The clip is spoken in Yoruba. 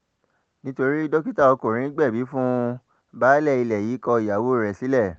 nítorí dókítà ọkùnrin gbẹ̀bí fún un baálé ilé yìí kọ ìyàwó rẹ̀ sílẹ̀